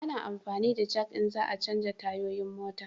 A na amfani da jak in za a chanja tayoyin mota